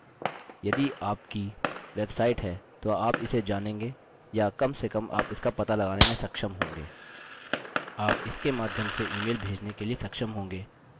यदि आप विशेष dns सर्वर के बारे में जानते हैं यदि आपके पास डोमैन नेम पहले से ही है यदि आपकी वेबसाइट है तो आप इसे जानेंगे या कम से कम आप इसका पता लगाने में सक्षम होंगे